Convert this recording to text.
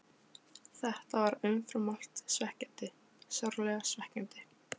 Þetta var umfram allt svekkjandi, sárlega svekkjandi.